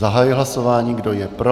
Zahajuji hlasování, kdo je pro?